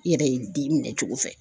I yɛrɛ ye den minɛ cogo fɛ.